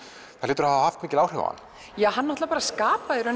það hlýtur að hafa haft áhrif á hann hann skapaði